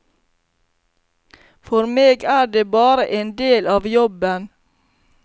For meg er det bare en del av jobben.